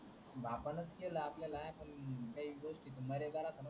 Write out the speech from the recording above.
बापानच केलं आपल्याला काही गोष्टी मरेपर्यंत नाही विसरणार